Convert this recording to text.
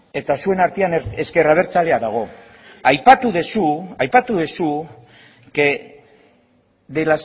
eta zuen artean ezker abertzalea dago aipatu duzu aipatu duzu que de